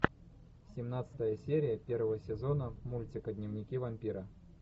семнадцатая серия первого сезона мультика дневники вампира